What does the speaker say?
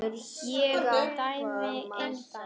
Ég dæmi engan.